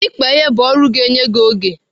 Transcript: Ịkpa ihe bụ ọrụ ga-enye gị oge.